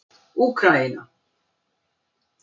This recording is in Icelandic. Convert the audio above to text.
Úkraína